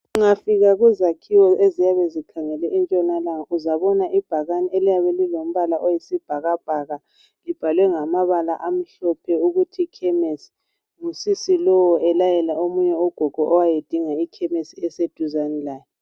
Ungafika kuzakhiwo eziyabe zikhangele entshonalanga uzabona ibhakane eliyabe lilombala oyisibhakabhaka libhalwe ngamabala amhlophe ukuthi ikhemisi ngusisi lo elayela omunye ugogo owayedinga ikhemisi eyeduzane laye.